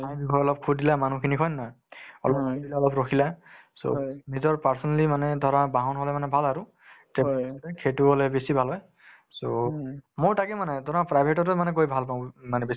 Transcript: ঠাইৰ বিষয়ে অলপ সুধিলা মানুহখিনিক হয় নে নহয় অলপ নামি দিলা অলপ ৰখিলা so নিজৰ personally মানে ধৰা বাহন হলে মানে ভাল আৰু travelling সেইটো হলে বেছি ভাল হয় so মোৰ তাকে মানে ধৰা private ততে মানে গৈ ভাল পাওঁ মানে বেছি